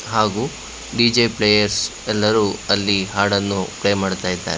ಹಾಗೂ D J players ಎಲ್ಲರೂ ಅಲ್ಲಿ ಹಾಡನ್ನು ಪ್ಲೇ ಮಾಡ್ತಿದಾರೆ.